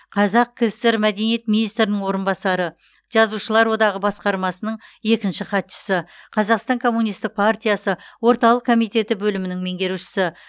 қазақ кср мәдениет министрінің орынбасары жазушылар одағы басқармасының екінші хатшысы қазақстан коммунистік партиясы орталық комитеті бөлімінің меңгерушісі